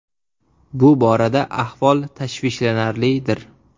Bu borada ahvol tashvishlanarlidir.